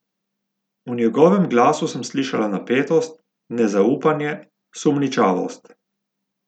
V njegovem glasu sem slišala napetost, nezaupanje, sumničavost.